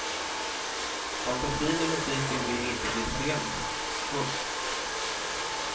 Fantasin i musiken vill inte bli scenisk. punkt